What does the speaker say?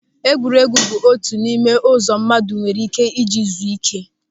Egwuregwu bụ otu n'ime ụzọ mmadụ nwere ị́ké ịji zuo ị́ké.